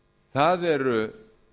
það eru